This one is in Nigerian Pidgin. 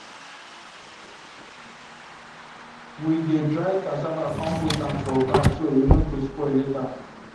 we dey dry cassava come put am for bag so e no go spoil later